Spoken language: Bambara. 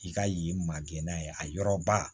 I ka yen magɛnna ye a yɔrɔ ba